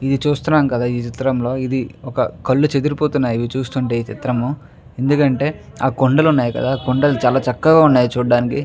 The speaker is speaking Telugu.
ఇది చూస్తున్నాం కదా ఈ చిత్రంలో ఇది ఒక కళ్ళు చెదిరిపోతున్నాయి ఇవి చూస్తుంటే ఈ చిత్రము ఎందుకంటే ఆ కొండలు వున్నాయి కదా ఆ కొండలు చాలా చక్కగా వున్నాయి చూడడానికి.